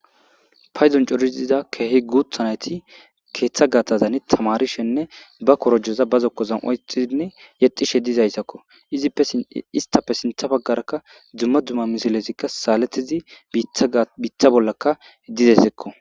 Paydon c'ora gidizza keehi nayththi keththa gaththan tamarisheninne ba korojossa ba zokkon oyikidi yedhdhishe dizaysakko isttappe sinthe bagara dumma dumma misilethikka sa'aletizzi biththa bollanikka dizaysakko.